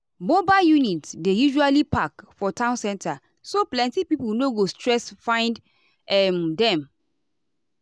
mobile units dey usually park for town center so plenty people no go stress find um them.